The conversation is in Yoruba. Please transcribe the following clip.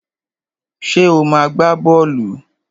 Ṣé ò máa ń gbá bọ́ọ̀lù?